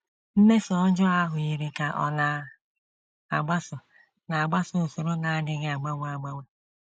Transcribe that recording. Mmeso ọjọọ ahụ yiri ka ọ na - agbaso na - agbaso usoro na - adịghị agbanwe agbanwe.